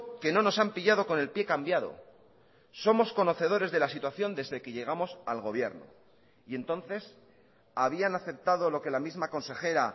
que no nos han pillado con el pie cambiado somos conocedores de la situación desde que llegamos al gobierno y entonces habían aceptado lo que la misma consejera